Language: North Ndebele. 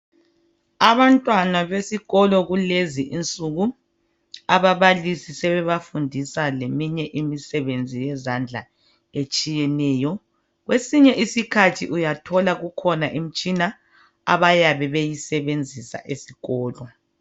Abantwana besikolo kulezi insuku ababalisi sebebafundisa leminye imisebenzi yezandla etshiyeneyo. Kwesinye isiskhathi uyathola kukhona imitshina abayabe beyisebenzisa esikolo.